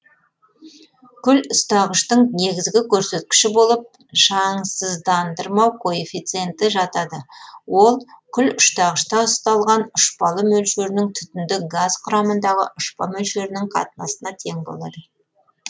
күл ұстағыштың негізгі көрсеткіші болып шаңсыздандырмау коэффициенті жатады ол күл ұстағышта ұсталған ұшпалы мөлшерінің түтінді газ құрамындағы ұшпа мөлшерінің қатынасына тең болады